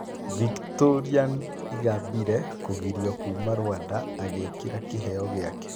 Victoriane Ingabire kũgirio kuuma Rwanda agekĩra kĩheo gĩake